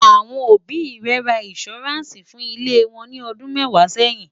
àwọn òbí ré rà insuranci fún ilé wón ní ọdún mẹwàá sẹyìn